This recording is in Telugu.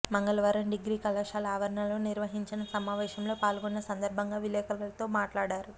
మంగళవారం డిగ్రీ కళాశాల ఆవరణలో నిర్వహించిన సమావేశంలో పాల్గొన్న సందర్భంగా విలేకరులతో మాట్లాడారు